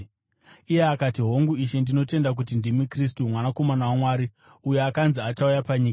Iye akati, “Hongu, Ishe, ndinotenda kuti ndimi Kristu, Mwanakomana waMwari, uyo akanzi achauya panyika.”